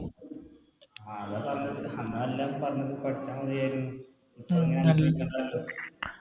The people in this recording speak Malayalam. ആ അതാ പറഞ്ഞത് അന്ന എല്ലാരും പറഞ്ഞത് പഠിച്ച മതിയാരുന്നു